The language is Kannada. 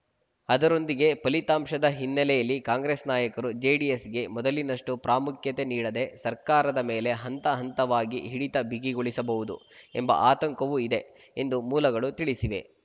ಅದರೊಂದಿಗೇ ಫಲಿತಾಂಶದ ಹಿನ್ನೆಲೆಯಲ್ಲಿ ಕಾಂಗ್ರೆಸ್‌ ನಾಯಕರು ಜೆಡಿಎಸ್‌ಗೆ ಮೊದಲಿನಷ್ಟುಪ್ರಾಮುಖ್ಯತೆ ನೀಡದೆ ಸರ್ಕಾರದ ಮೇಲೆ ಹಂತ ಹಂತವಾಗಿ ಹಿಡಿತ ಬಿಗಿಗೊಳಿಸಬಹುದು ಎಂಬ ಆತಂಕವೂ ಇದೆ ಎಂದು ಮೂಲಗಳು ತಿಳಿಸಿವೆ